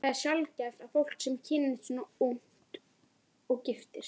Það er sjaldgæft að fólk, sem kynnist svona ungt, giftist.